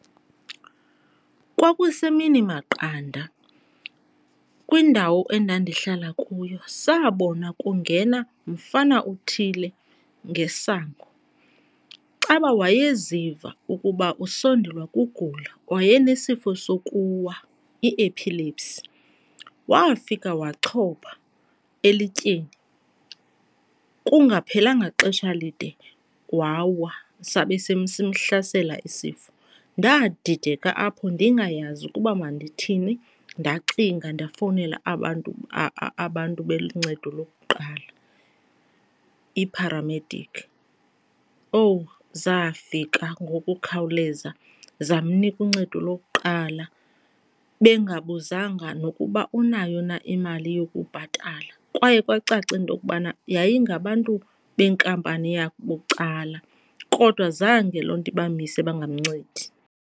Kwakusemini maqanda kwindawo endandihlala kuyo. Sabona kungena mfana uthile ngesango. Caba wayeziva ukuba usondelwa kugula waye nesifo sokuwa, i-epilepsy. Wafika wachopa elityeni, kungaphelelanga xesha lide wawa sabe simhlasela isifo. Ndadideka apho ndingayazi ukuba mandithini ndacinga ndafowunela abantu abantu beli ncedo lokuqala, ipharamedikhi. Owu!. Zafika ngokukhawuleza zamnika uncedo lokuqala bengabuzanga nokuba unayo na imali yokubhatala. Kwaye kwacaca intokubana yayingabantu beenkampani yabucala kodwa zange loo nto ibamise bangamncedi.